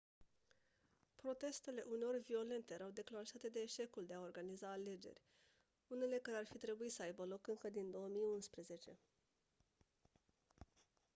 protestele uneori violente erau declanșate de eșecul de a organiza alegeri unele care ar fi trebuit să aibă loc încă din 2011